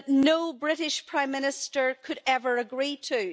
no British Prime Minister could ever agree to.